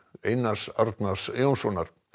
Einars Arnar Jónssonar